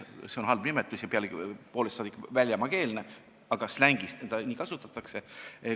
See on halb nimetus ja pealegi poolest saadik väljamaakeelne, aga slängis seda kasutatakse.